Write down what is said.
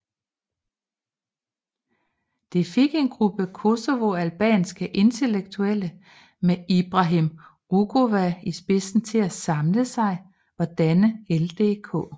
Det fik en gruppe kosovoalbanske intellektuelle med Ibrahim Rugova i spidsen til at samle sig og danne LDK